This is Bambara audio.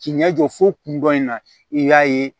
K'i ɲɛ jɔ fo kundɔn in na i y'a ye